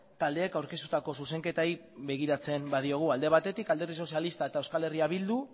taldeek aurkeztutako zuzenketei begiratzen baldin badiogu alde batetik alderdi sozialista eta euskal herria bildu